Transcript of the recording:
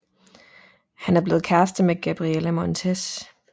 Han er blevet kærester med Gabriella Montez